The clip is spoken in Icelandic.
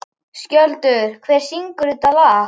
Skjöldur, hver syngur þetta lag?